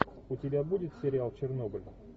у тебя будет сериал чернобыль